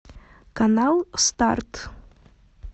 канал старт